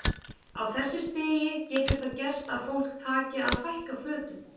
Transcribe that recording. Á þessu stigi getur það gerst að fólk taki að fækka fötum.